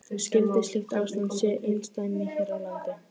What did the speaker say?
Skyldi slíkt ástand sé einsdæmi hér á landi?